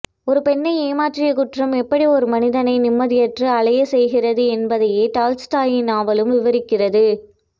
ஒரு பெண்ணை ஏமாற்றிய குற்றம் எப்படி ஒரு மனிதனை நிம்மதியற்று அலையச் செய்கிறது என்பதையே டால்ஸ்டாயின் நாவலும் விவரிக்கிறது